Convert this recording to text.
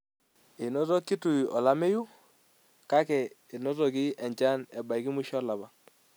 Enoto Kitui olameyu, kake enotoki enchan ebaiki musho olapa.